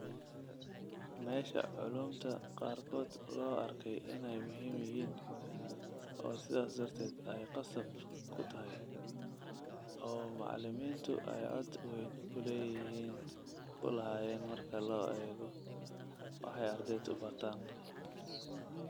Meesha culuumta qaarkood loo arkay inay muhiim yihiin oo sidaas darteed ay qasab ku tahay, oo macallimiintu ay cod weyn ku lahaayeen marka la eego waxay ardaydu bartaan.